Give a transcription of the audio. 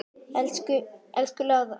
Elsku Lára mín.